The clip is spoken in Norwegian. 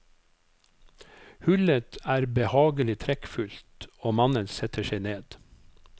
Hullet er behagelig trekkfullt og mannen setter seg ned.